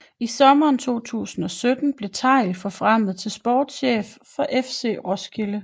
I sommeren 2017 blev Theil forfremmet til sportschef for FC Roskilde